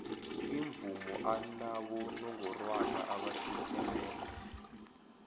imvumo anabonongorwana abahlukeneko